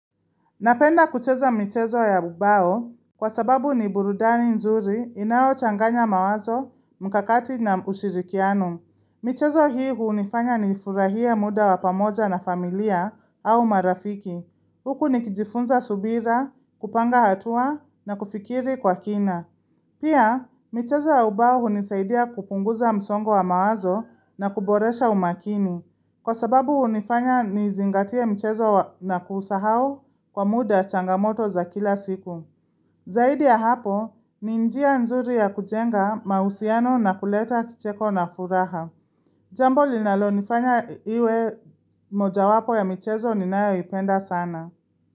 Napenda kucheza michezo ya ubao kwa sababu ni burudani nzuri inayochanganya mawazo, mkakati na ushirikiano. Michezo hii hunifanya nifurahie muda wa pamoja na familia au marafiki. Huku nikijifunza subira, kupanga hatua na kufikiri kwa kina. Pia, michezo ya ubao hunisaidia kupunguza msongo wa mawazo na kuboresha umakini. Kwa sababu hunifanya nizingatie mchezo na kusahau kwa muda changamoto za kila siku. Zaidi ya hapo, ni njia nzuri ya kujenga mahusiano na kuleta kicheko na furaha. Jambo linalonifanya iwe moja wapo ya michezo ninayoipenda sana.